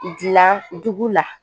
Dilan dugu la